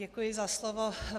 Děkuji za slovo.